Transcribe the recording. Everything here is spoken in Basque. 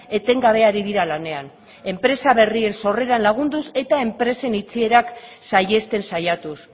etengabe ari dira lanean enpresa berrien sorreran lagunduz eta enpresen itxierak saihesten saiatuz